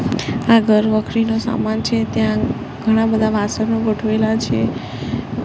આ ઘર વખરીનો સામાન છે ત્યાં ઘણા બધા વાસણો ગોઠવેલા છે.